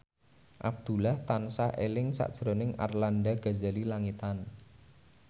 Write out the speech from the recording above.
Abdullah tansah eling sakjroning Arlanda Ghazali Langitan